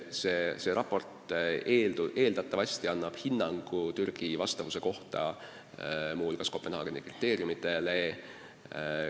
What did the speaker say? See raport eeldatavasti annab hinnangu Türgi vastavuse kohta, muu hulgas Kopenhaageni kriteeriumidele.